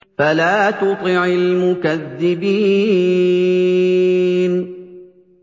فَلَا تُطِعِ الْمُكَذِّبِينَ